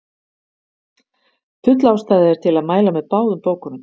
Full ástæða er til að mæla með báðum bókunum.